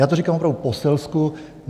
Já to říkám opravdu po selsku.